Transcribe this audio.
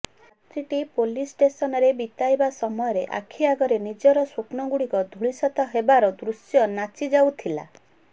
ରାତ୍ରିଟି police ଷ୍ଟେସନରେ ବିତାଇବା ସମୟରେ ଆଖିଆଗରେ ନିଜର ସ୍ୱପ୍ନଗୁଡିକ ଧୂଳିସାତ ହେବାର ଦୃଶ୍ୟ ନାଚିଯାଉଥିଲା